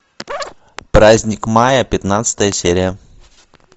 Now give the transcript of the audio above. праздник мая пятнадцатая серия